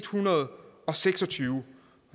hundrede og seks og tyve